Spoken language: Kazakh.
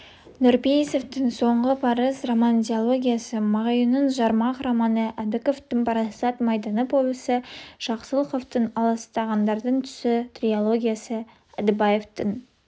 нұрпейісовтың соңғы парыз роман-диологиясы мағауиннің жармақ романы әбдіковтің парасат майданы повесі жақсылықовтың аласталғандардың түсі трилогиясы әдібаевтың